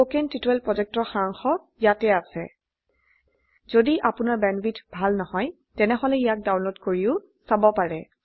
httpspoken tutorialorgWhat is a Spoken Tutorial কথন শিক্ষণ প্ৰকল্পৰ সাৰাংশ ইয়াত আছে যদি আপোনাৰ বেণ্ডৱিডথ ভাল নহয় তেনেহলে ইয়াক ডাউনলোড কৰি চাব পাৰে